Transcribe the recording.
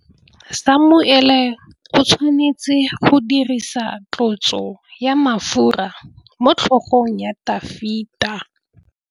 Samuele o tshwanetse go dirisa tlotsô ya mafura motlhôgong ya Dafita.